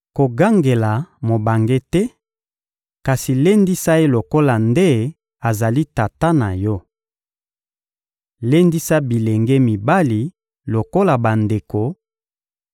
Kogangela mobange te, kasi lendisa ye lokola nde azali tata na yo. Lendisa bilenge mibali lokola bandeko,